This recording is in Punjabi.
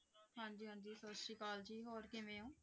ਹਾਂਜੀ ਹਾਂਜੀ ਸਤਿ ਸ੍ਰੀ ਅਕਾਲ ਜੀ ਹੋਰ ਕਿਵੇਂ ਹੋ।